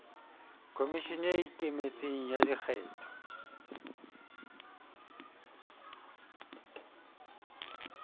khomishene e ikemetseng ya dikgetho